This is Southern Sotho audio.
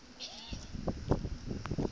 tse ding le tse ding